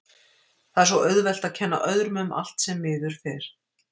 Það er svo auðvelt að kenna öðrum um allt sem miður fer.